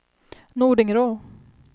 Nordingrå